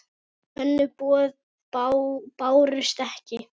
Önnur boð bárust ekki.